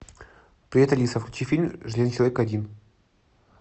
привет алиса включи фильм железный человек один